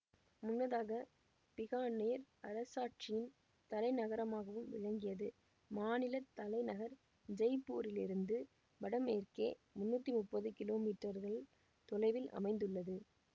முன்னதாக பிகானேர் அரசாட்சியின் தலைநகரமாகவும் விளங்கியது மாநில தலைநகர் ஜெய்ப்பூரிலிருந்து வடமேற்கே முன்னூற்றி முப்பது கிலோமீற்றர்கள் தொலைவில் அமைந்துள்ளது